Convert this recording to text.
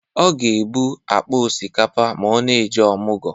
Ọ ga-ebu akpa ọsikapa ma ọ na-eje ọmụgọ.